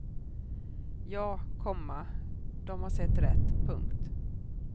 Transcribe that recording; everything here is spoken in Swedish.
Ja, komma de har sett rätt. punkt